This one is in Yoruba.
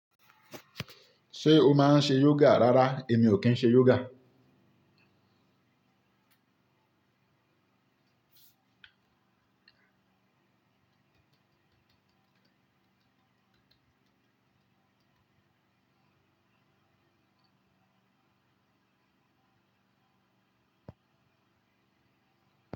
Ṣé o máa ń ṣe yoga rárá èmi ò kí ń ṣe yoga.